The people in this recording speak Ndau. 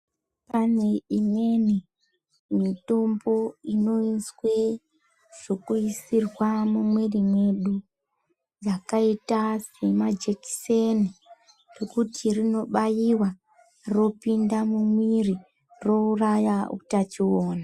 Pane imweni mitombo inoiswe zvekuisirwa mumwiri medu yakaita semajekiseni rekuti rinobaiwa ropinda mumwiri rouraya utachiona.